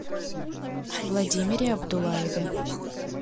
владимире абдулаеве